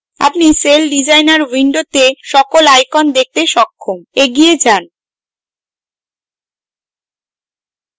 আপনি celldesigner window সকল icons দেখতে সক্ষম এগিয়ে যাই